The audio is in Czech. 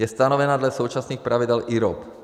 Je stanovena dle současných pravidel IROP.